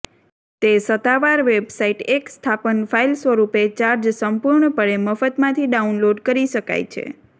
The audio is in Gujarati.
તે સત્તાવાર વેબસાઇટ એક સ્થાપન ફાઈલ સ્વરૂપે ચાર્જ સંપૂર્ણપણે મફત માંથી ડાઉનલોડ કરી શકાય છે